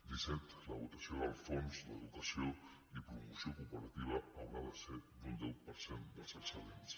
disset la votació del fons d’educació i promoció cooperativa haurà de ser d’un deu per cent dels excedents